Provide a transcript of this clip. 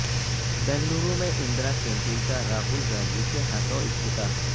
بنگلورو میں اندرا کینٹین کا راہول گاندھی کے ہاتھوں افتتاح